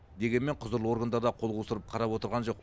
дегенмен құзырлы органдар да қол қусырып қарап отырған жоқ